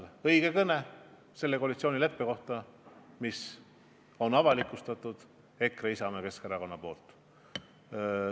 See on õige kõne koalitsioonileppest, mille on avalikustanud EKRE, Isamaa ja Keskerakond.